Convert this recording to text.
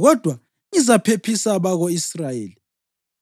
Kodwa ngizaphephisa abako-Israyeli